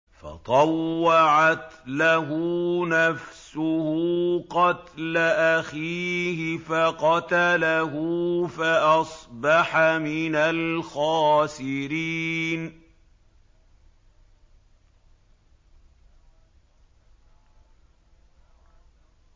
فَطَوَّعَتْ لَهُ نَفْسُهُ قَتْلَ أَخِيهِ فَقَتَلَهُ فَأَصْبَحَ مِنَ الْخَاسِرِينَ